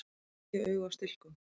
Tíu augu á stilkum!